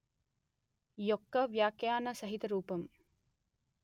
యొక్క వ్యాఖ్యాన సహిత రూపం